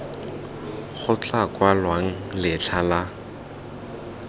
go tla kwalwang letlha la